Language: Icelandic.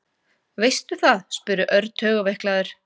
Veistu það? spurði Örn taugaveiklaður.